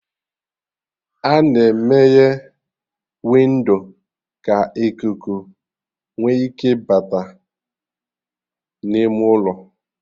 A-na emeye windo ka ikuku nwe ike bata n'ime ụlọ